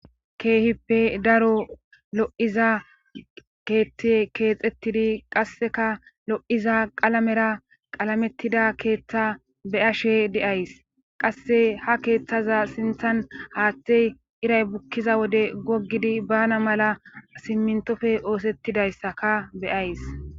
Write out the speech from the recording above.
Keehippe daro lo'iza keethte keexettidi qasseka lo'iza qalamera qalamettida keeththa beyashe de'ays qasse ha keeththaza sinthan haaththey iray bukkiza wode goggidi bana mala simmintofe oosettidayssaka beyays.